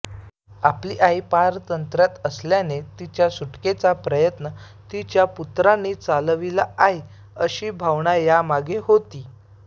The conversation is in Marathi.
आपली आई पारतंत्र्यात असल्याने तिच्या सुटकेचा प्रयत्न तिच्या पुत्रांनी चालविला आहे अशी भावना यामागे होती